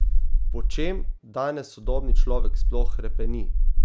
Po čem danes sodobni človek sploh hrepeni?